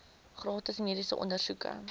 gratis mediese ondersoeke